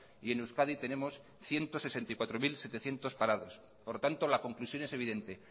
y en euskadi tenemos ciento sesenta y cuatro mil setecientos parados por tanto la conclusión es evidente